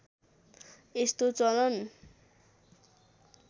यस्तो चलन